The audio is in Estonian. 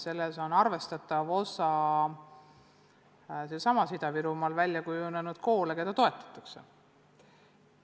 Selles on arvestatav osa Ida-Virumaal välja kujunenud koolidel, keda toetatakse.